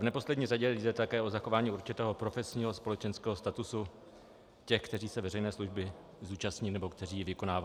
V neposlední řadě jde také o zachování určitého profesního společenského statusu těch, kteří se veřejné služby zúčastní nebo kteří ji vykonávají.